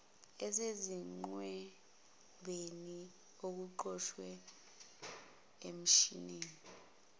esezingqwembeni okuqoshwe emshinini